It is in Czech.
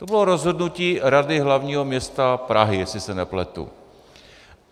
To bylo rozhodnutí Rady hlavního města Prahy, jestli se nepletu.